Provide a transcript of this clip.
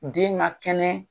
Den man kɛnɛ.